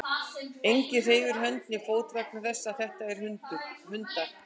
Enginn hreyfir hönd né fót vegna þess að þetta eru hundar.